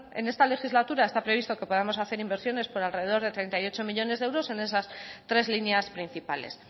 en esta legislatura está previsto que podamos hacer inversiones por alrededor de treinta y ocho millónes de euros en esas tres líneas principales